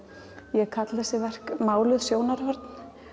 ég kalla þessi verk máluð sjónarhorn